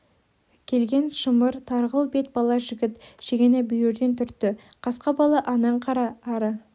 келген шымыр тарғыл бет бала жігіт шегені бүйірден түртті қасқа бала анаң қара ары